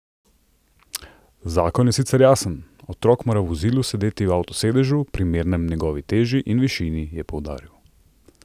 Zakon je sicer jasen, otrok mora v vozilu sedeti v avtosedežu, primernem njegovi teži in višini, je poudaril.